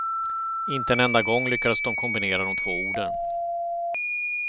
Inte en enda gång lyckades de kombinera de två orden.